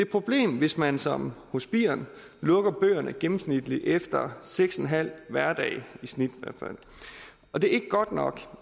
problem hvis man som hos birn lukker bøgerne gennemsnitligt efter seks en halv hverdag og det er ikke godt nok